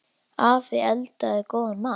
Afi eldaði góðan mat.